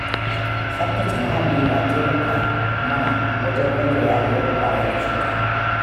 Tsabtace muhalli na taimaka mana wajen rage yaɗuwar ƙwayar cuta